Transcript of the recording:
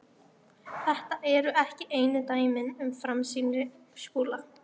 Þetta eru ekki einu dæmin um framsýni Skúla.